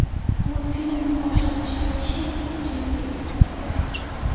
Multfilmning boshlanishidagi sherni ko‘pchilik eslasa kerak.